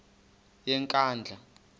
yenkandla